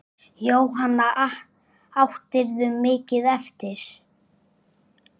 Jóhanna: Áttirðu mikið eftir?